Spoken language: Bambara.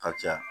Ka caya